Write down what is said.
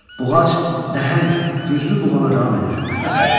Buğac nəhəng güclü buğanı ram edir və sairə.